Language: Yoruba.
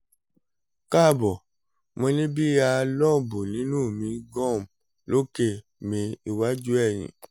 kaabọ mo ni bi a lump ninu mi gum loke mi iwaju eyin